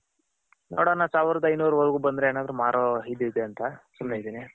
ನೋಡೋಣ ಸಾವಿರಾದ್ ಐನೂರ್ ವರೆಗೂ ಬಂದ್ರೆ ಎನಾದ್ರು ಮಾಡೋ ಇದಿದೆ ಅಂತ ಸುಮ್ನೆ ಇದೀನಿ.